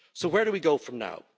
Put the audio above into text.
So where do we go from now?